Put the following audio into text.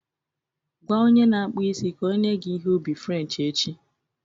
Gwa onye na-akpụ isi ka o nye gị ihe ubi French echi